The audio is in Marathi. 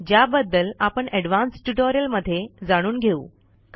ज्याबद्दल आपण ऍडव्हान्स ट्युटोरियलमध्ये जाणून घेऊ